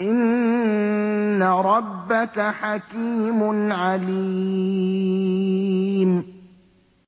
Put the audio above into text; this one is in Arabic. إِنَّ رَبَّكَ حَكِيمٌ عَلِيمٌ